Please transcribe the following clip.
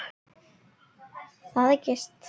Þar er gist.